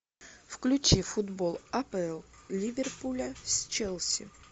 включи футбол апл ливерпуля с челси